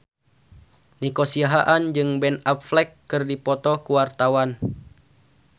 Nico Siahaan jeung Ben Affleck keur dipoto ku wartawan